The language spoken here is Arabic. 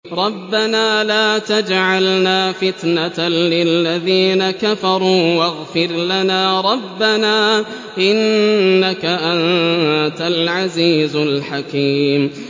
رَبَّنَا لَا تَجْعَلْنَا فِتْنَةً لِّلَّذِينَ كَفَرُوا وَاغْفِرْ لَنَا رَبَّنَا ۖ إِنَّكَ أَنتَ الْعَزِيزُ الْحَكِيمُ